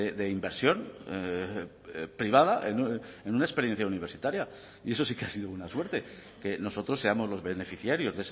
de inversión privada en una experiencia universitaria y eso sí que ha sido una suerte que nosotros seamos los beneficiarios